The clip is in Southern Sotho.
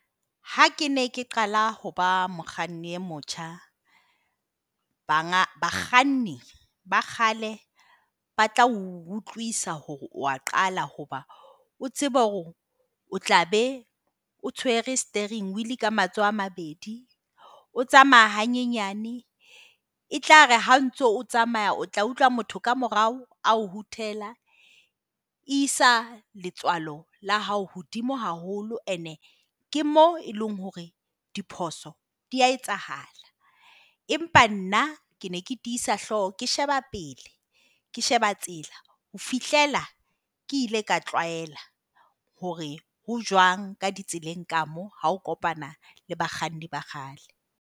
Ha ke ne ke qala ho ba mokganni e motjha, bakganni ba kgale ba tla utlwisa hore o a qala hoba o tsebe hore o tlabe o tshwere steering wheel ka matsoho a mabedi. O tsamaya hanyenyane. E tlare ha ntso o tsamaya o tla utlwa motho ka morao a o hoot-ela. E isa letswalo la hao hodimo haholo, ene ke mo e leng hore diphoso di a etsahala. Empa nna ke ne ke tiisa hlooho, ke sheba pele. Ke sheba tsela ho fihlela ke ile ka tlwaela hore ho jwang ka ditseleng ka mo ha o kopana le bakganni ba kgale.